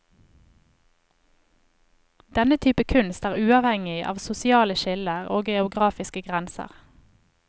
Denne type kunst er uavhengig av sosiale skiller og geografiske grenser.